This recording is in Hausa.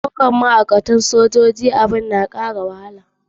Daukar ma'aikata a cikin sojoji shine abin da ke kara wahala.